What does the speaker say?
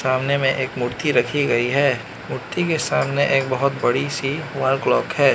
सामने मे एक मूर्ति रखी गयी है मूर्ति के सामने एक बहोत बड़ी सी वॉल क्लॉक है।